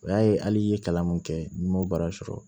O y'a ye hali i ye kalan mun kɛ n'i m'o baara sɔrɔ